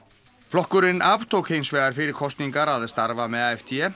flokkurinn aftók hins vegar fyrir kosningar að starfa með